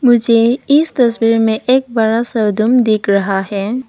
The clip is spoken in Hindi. मुझे इस तस्वीर में एक बड़ा सा रूम दिख रहा है।